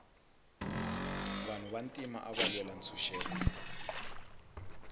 vanhu va ntima ava lwela ntshuxeko